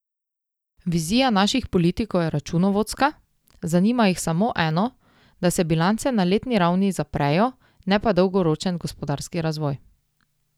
Vizija naših politikov je računovodska, zanima jih samo eno, da se bilance na letni ravni zaprejo, ne pa dolgoročen gospodarski razvoj.